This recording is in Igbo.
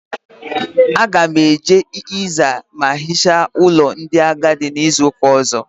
Aga m eje ịza ma hicha ụlọ ndị agadi n'izuụka ọ̀zọ́.